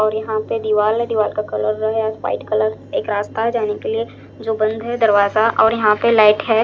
और यहां पे दीवाल है दीवाल का कलर है वाइट कलर एक रास्ता जाने के लिए जो बंद है दरवाजा और यहां पे लाइट है।